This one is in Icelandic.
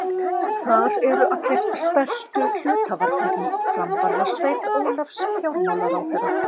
Þar eru allir stærstu hluthafarnir í framvarðarsveit Ólafs fjármálaráðherra.